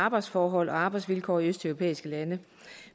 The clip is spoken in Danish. arbejdsforhold og arbejdsvilkår i østeuropæiske lande